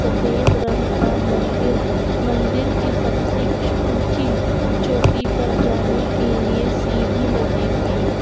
सफेद रंग का मंदीर है मंदिर की सबसे चो- ऊंची चोटी पर जाने के लिए सीढी लगी हुई है।